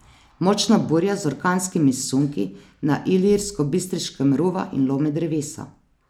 Močna burja z orkanskimi sunki na Ilirskobistriškem ruva in lomi drevesa.